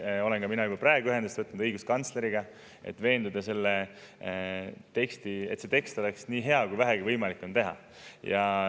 Samuti olen ma juba praegu ühendust võtnud õiguskantsleriga, et, et see tekst oleks nii hea, kui vähegi võimalik on teha.